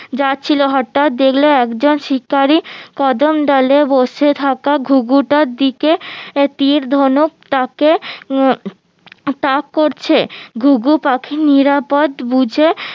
যাচ্ছিলো হঠাৎ দেখলো একজন শিকারী কদম ডালে বসে থাকা ঘুঘুটার দিকে আহ তির ধনুক তাকে তাক করছে ঘুঘু পাখি নিরাপদ বুঝে